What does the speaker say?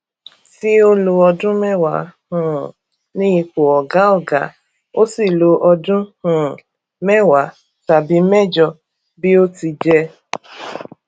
tí ó lọ ọdún mẹwàá um ní ipò ọgá ọgá ó sì lọ ọdún um mẹwàá tàbí mẹjọ bí ó ti jẹ